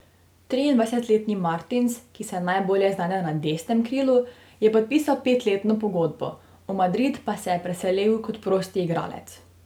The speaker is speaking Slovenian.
Triindvajsetletni Martins, ki se najbolje znajde na desnem krilu, je podpisal petletno pogodbo, v Madrid pa se je preselil kot prosti igralec.